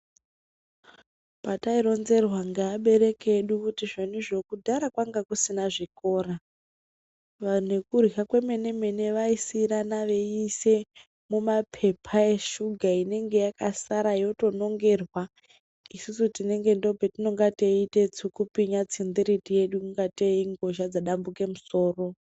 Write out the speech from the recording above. Patai ronzerwa nge abereki edu kuti zvonizvo kudhaya kwanga kusina zvikora nekurya kwemene mene vaisirana veise mu mapepa eshuga inenge yaka sara yoto nongerwa isusu tinenge ndopatinonge teyite tsukupwinya tsindiriti yedu kungate ingozha dzadambuka musoro